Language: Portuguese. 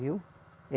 Viu?